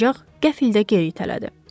Ancaq qəfildən geri itələdi.